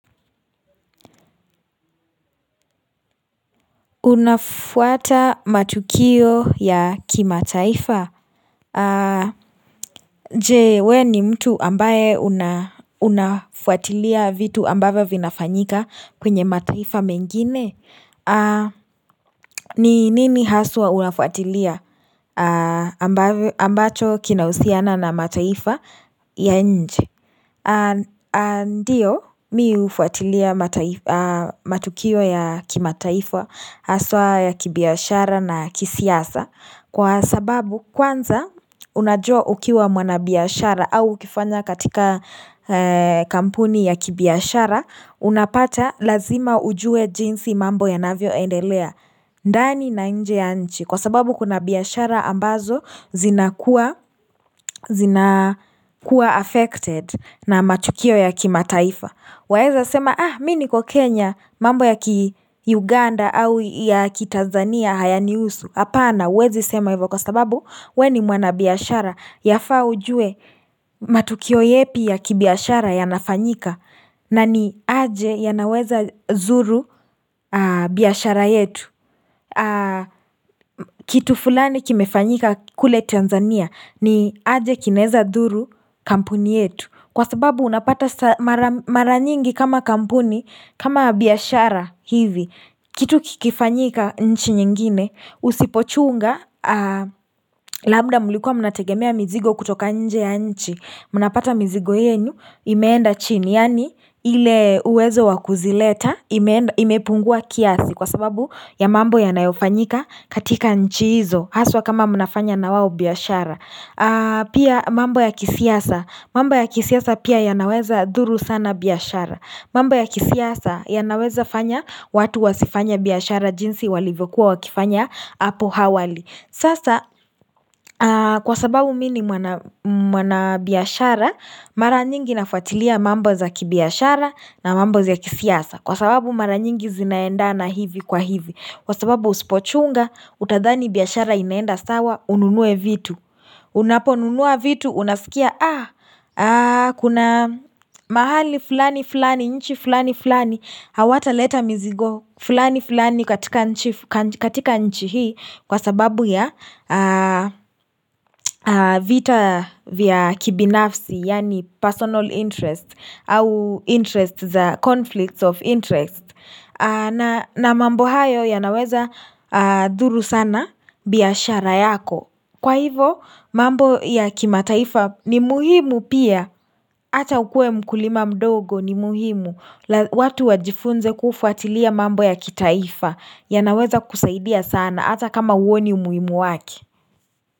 Unafuata matukio ya kimataifa Jee, we ni mtu ambaye unafuatilia vitu ambavyo vinafanyika kwenye mataifa mengine ni nini haswa unafuatilia ambacho kinahusiana na mataifa ya nje ndiyo mi hufuatilia matukio ya kimataifa haswa ya kibiashara na kisiasa Kwa sababu kwanza unajua ukiwa mwanabiashara au ukifanya katika kampuni ya kibiashara Unapata lazima ujue jinsi mambo yanavyoendelea ndani na nje ya nchi kwa sababu kuna biashara ambazo zina kuwa affected na matukio ya kimataifa Waeza sema ah mi niko Kenya mambo ya ki Uganda au ya ki Tanzania hayanihusu Hapana huwezi sema hivyo kwa sababu we ni mwanabiashara Yafaa ujue matukio yepi ya kibiashara yanafanyika na ni aje yanaweza zuru biashara yetu Kitu fulani kimefanyika kule Tanzania ni aje kinaeza dhuru kampuni yetu Kwa sababu unapata mara nyingi kama kampuni kama biashara hivi Kitu kikifanyika nchi nyingine Usipochunga Labda mlikua mnategemea mizigo kutoka nje ya nchi mnapata mizigo yenyu Imeenda chini Yaani ile uwezo wa kuzileta Imepungua kiasi Kwa sababu ya mambo yanayofanyika katika nchi hizo Haswa kama mnafanya na wao biashara Pia mambo ya kisiasa mambo ya kisiasa pia yanaweza dhuru sana biashara mambo ya kisiasa yanaweza fanya watu wasifanye biashara jinsi walivyokuwa wakifanya Apo hawali Sasa kwa sababu mi ni mwanabiashara Mara nyingi nafuatilia mambo za kibiashara na mambo za kisiasa Kwa sababu mara nyingi zinaendana hivi kwa hivi Kwa sababu usipochunga, utadhani biashara inaenda sawa, ununue vitu Unaponunua vitu, unasikia Kuna mahali fulani fulani, nchi fulani fulani Hawataleta mizigo, fulani fulani katika nchi hii Kwa sababu ya vita vya kibinafsi Yaani personal interest au interest, the conflicts of interest na mambo hayo yanaweza dhuru sana biashara yako Kwa hivo mambo ya kimataifa ni muhimu pia Hata ukue mkulima mdogo ni muhimu watu wajifunze kufuatilia mambo ya kitaifa yanaweza kusaidia sana hata kama huoni umuimu wake.